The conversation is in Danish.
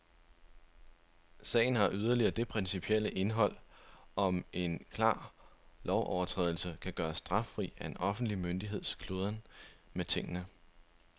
Sagen har yderligere det principielle indhold, om en klar lovovertrædelse kan gøres straffri af en offentlig myndigheds kludren med tingene.